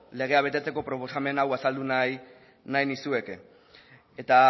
legea betetzeko proposamen hau azaldu nahi nizueke eta